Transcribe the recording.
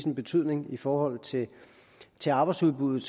en betydning i forhold til til arbejdsudbuddet